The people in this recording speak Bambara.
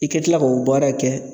I ka kila k'o baara kɛ